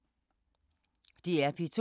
DR P2